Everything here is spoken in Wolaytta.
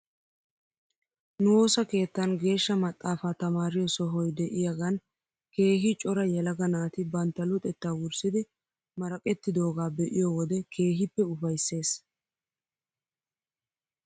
Nu woosa keettan geeshsha maxaafaa tamaariyoo sohoy de'iyaagan keehi cora yelaga naati bantta luxettaa wurssidi maraqettidoogaa be'iyoo wode keehippe ufaysses